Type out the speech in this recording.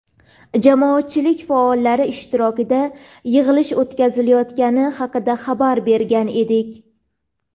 jamoatchilik faollari ishtirokida yig‘ilish o‘tkazilayotgani haqida xabar bergan edik.